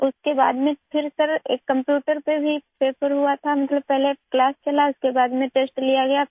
اس کے بعد sir computer پر پیپر ہوا ، یعنی پہلے کلاس لی گئی اور پھر ٹیسٹ لیا گیا